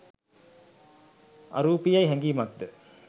අරූපීයැයි හැඟීමක්ද,